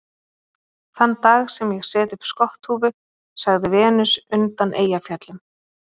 Þann dag sem ég set upp skotthúfu, sagði Venus undan Eyjafjöllum